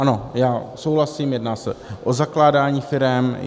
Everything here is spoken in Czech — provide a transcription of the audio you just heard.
Ano, já souhlasím, jedná se o zakládání firem.